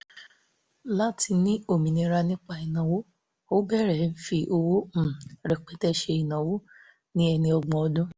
láti ní òmìnira nípa ìnáwó ó bẹ̀rẹ̀ fi owó um rẹpẹtẹ ṣe ìnáwó ní ẹni ọgbọ̀n ọdún